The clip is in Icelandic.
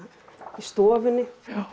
stofunni